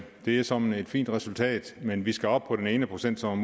det er såmænd et fint resultat men vi skal op på den ene procent som